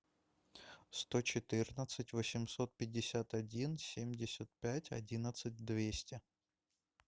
сто четырнадцать восемьсот пятьдесят один семьдесят пять одиннадцать двести